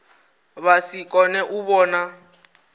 vha si kone u vhona